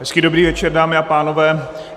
Hezký dobrý večer, dámy a pánové.